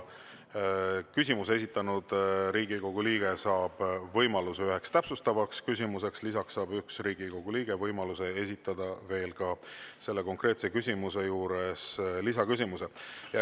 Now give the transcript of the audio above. Küsimuse esitanud Riigikogu liige saab võimaluse üheks täpsustavaks küsimuseks, lisaks saab üks Riigikogu liige võimaluse esitada konkreetse küsimuse juures lisaküsimuse.